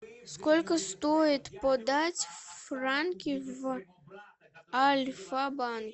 сколько стоит подать франки в альфабанк